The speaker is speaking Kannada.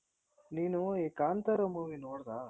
ನೀನು ಕಾಂತಾರ movie ನೋಡ್ದಾ?